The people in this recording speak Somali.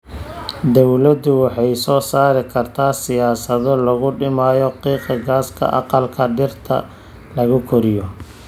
Dawladdu waxay soo saari kartaa siyaasado lagu dhimayo qiiqa gaaska aqalka dhirta lagu koriyo.